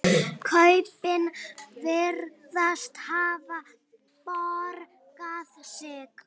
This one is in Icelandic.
Kaupin virðast hafa borgað sig.